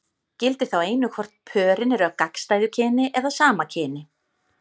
Gildir þá einu hvort pörin eru af gagnstæðu kyni eða sama kyni.